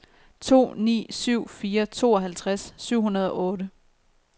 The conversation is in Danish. to ni syv fire tooghalvtreds syv hundrede og otte